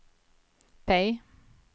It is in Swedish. P